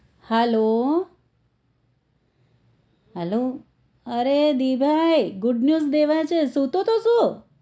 hello hello અરે દીભાઈ good news દેવા છે સુતો તો શું?